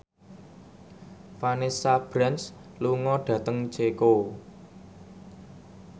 Vanessa Branch lunga dhateng Ceko